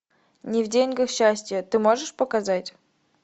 не в деньгах счастье ты можешь показать